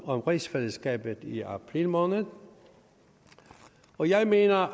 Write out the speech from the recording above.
om rigsfællesskabet i april måned og jeg mener